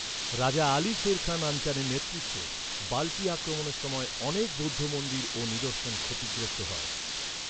রাজা আলী শের খান আনচানের নেতৃত্বে বাল্টি আক্রমণের সময় অনেক বৌদ্ধ মন্দির ও নিদর্শন ক্ষতিগ্রস্ত হয়।